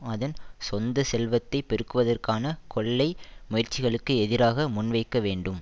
அதன் சொந்த செல்வத்தை பெருக்குவதற்கான கொள்ளை முயற்சிகளுக்கு எதிராக முன்வைக்க வேண்டும்